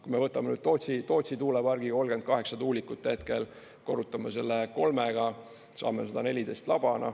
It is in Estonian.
Kui me võtame nüüd Tootsi tuulepargi, 38 tuulikut hetkel, korrutame selle kolmega, saame 114 laba.